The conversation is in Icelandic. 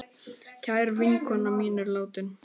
Kær vinkona mín er látin.